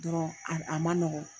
Dɔrɔn a a man nɔgɔn.